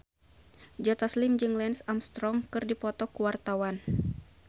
Joe Taslim jeung Lance Armstrong keur dipoto ku wartawan